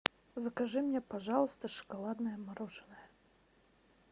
закажи мне пожалуйста шоколадное мороженое